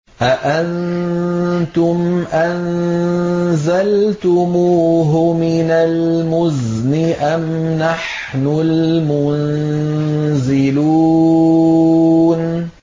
أَأَنتُمْ أَنزَلْتُمُوهُ مِنَ الْمُزْنِ أَمْ نَحْنُ الْمُنزِلُونَ